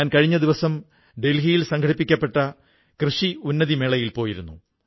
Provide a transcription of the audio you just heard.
ഞാൻ കഴിഞ്ഞ ദിവസം ദില്ലിയിൽ സംഘടിപ്പിക്കപ്പെട്ട കൃഷിഉന്നതിമേളയിൽ പോയിരുന്നു